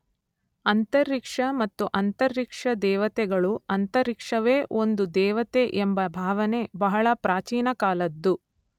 ಅಂತರಿಕ್ಷ ಮತ್ತು ಅಂತರಿಕ್ಷ ದೇವತೆಗಳು ಅಂತರಿಕ್ಷವೇ ಒಂದು ದೇವತೆ ಎಂಬ ಭಾವನೆ ಬಹಳ ಪ್ರಾಚೀನಕಾಲದ್ದು.